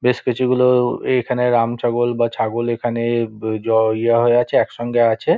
বেশ কিছু গুলো-ও এখানে রামছাগল বা ছাগল এখানে জ ই হয়ে আছে একসঙ্গে আছে।